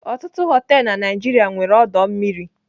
Ọtụtụ họteelụ na Naijiria nwere ọdọ mmiri.